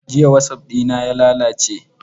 Jiya wasap ɗina ya lalace.